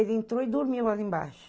Ele entrou e dormiu ali embaixo.